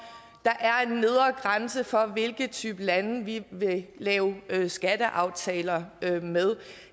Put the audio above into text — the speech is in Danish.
der er en nedre grænse for hvilken type lande vi vil lave skatteaftaler med